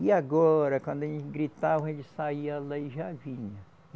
E agora, quando ele gritava, ele saía lá e já vinha.